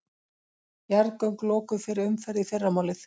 Jarðgöng lokuð fyrir umferð í fyrramálið